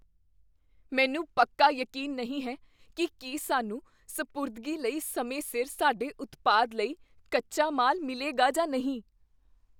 ਮੈਨੂੰ ਪੱਕਾ ਯਕੀਨ ਨਹੀਂ ਹੈ ਕੀ ਕੀ ਸਾਨੂੰ ਸਪੁਰਦਗੀ ਲਈ ਸਮੇਂ ਸਿਰ ਸਾਡੇ ਉਤਪਾਦ ਲਈ ਕੱਚਾ ਮਾਲ ਮਿਲੇਗਾ ਜਾਂ ਨਹੀਂ।